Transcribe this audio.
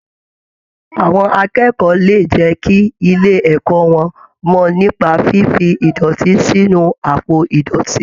Àwọn akẹ́kọ̀ọ́ lè jẹ́ kí ilé ẹ̀kọ́ wọn mọ nípa fífi ìdọ̀tí sínu àpò ìdọ̀tí.